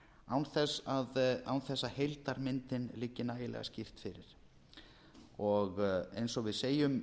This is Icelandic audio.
án þess að heildarmyndin liggi nægilega skýrt fyrir eins og við segjum